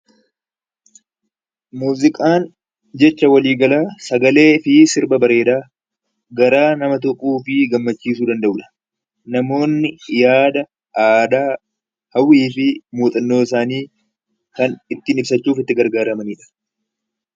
Muuziqaan jecha walii galaa sagalee fi sirba bareeda garaa nama tuquu fi gammachisuu danda'udha. Namoonni yaada aadaa, hawwii fi muxannoo isaanii, kan ittin ibsachuudhaf itti gargaraamanidha.